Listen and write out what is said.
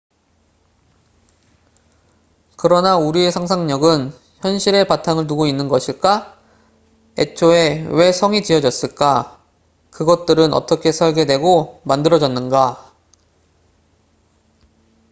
그러나 우리의 상상력은 현실에 바탕을 두고 있는 것일까? 애초에 왜 성castles이 지어졌을까? 그것들은 어떻게 설계되고 만들어졌는가?